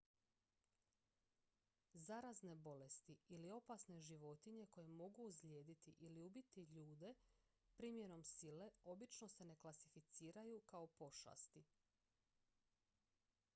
zarazne bolesti ili opasne životinje koje mogu ozlijediti ili ubiti ljude primjenom sile obično se ne klasificiraju kao pošasti